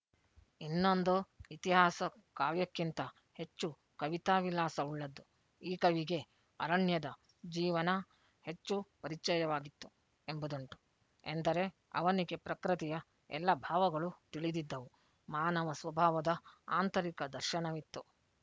ಇನ್ನೊಂದು ಇತಿಹಾಸ ಕಾವ್ಯಕ್ಕಿಂತ ಹೆಚ್ಚು ಕವಿತಾವಿಲಾಸ ಉಳ್ಳದ್ದು ಈ ಕವಿಗೆ ಅರಣ್ಯದ ಜೀವನ ಹೆಚ್ಚು ಪರಿಚಿಯವಾಗಿತ್ತು ಎಂಬುದುಂಟು ಎಂದರೆ ಅವನಿಗೆ ಪ್ರಕೃತಿಯ ಎಲ್ಲ ಭಾವಗಳೂ ತಿಳಿದಿದ್ದವು ಮಾನವ ಸ್ವಭಾವದ ಆಂತರಿಕ ದರ್ಶನವಿತ್ತು